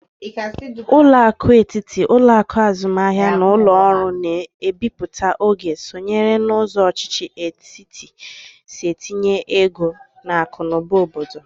Ụlọakụ etiti, ụlọakụ azụmahia na ụlọ ọrụ na-ebiputa ego sonyere na ụzọ ọchịchị etiti si etinye ego n'akụ na ụba obodo.